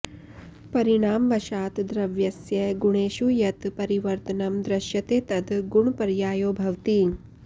परिणामवशात् द्रव्यस्य गुणेषु यत् परिवर्तनं दृश्यते तद् गुणपर्यायो भवति